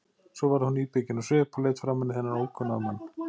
Svo varð hún íbyggin á svip og leit framan í þennan ókunna mann.